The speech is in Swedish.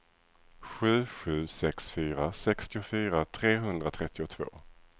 sju sju sex fyra sextiofyra trehundratrettiotvå